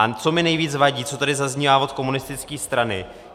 A co mi nejvíc vadí, co tady zaznívá od komunistické strany.